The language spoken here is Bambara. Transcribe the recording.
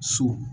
So